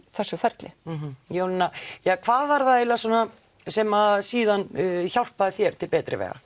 þessu ferli já Jónína hvað var það eiginlega sem síðan hjálpaði þér til betri vegar